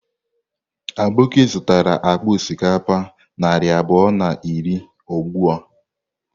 Aboki zụtara akpa osikapa narị abụọ na iri ugbu a.